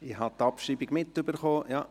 Ich habe die Abschreibung mitgekriegt.